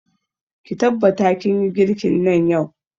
Ki tabbata kin yi girkin nan yau!